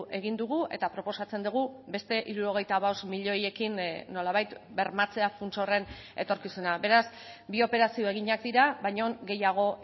egin dugu eta proposatzen dugu beste hirurogeita bost milioiekin nolabait bermatzea funts horren etorkizuna beraz bi operazio eginak dira baina gehiago